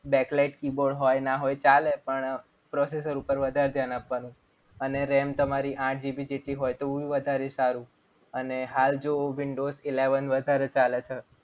backlight keyboard હોય ન હોય ચાલે. પણ processor પર વધારે ધ્યાન આપવાનું. અને RAM તમારી આઠ GB જેટલી હોય તો વધારે સારું અને હાલ જો windows eleven વધારે ચાલે છે.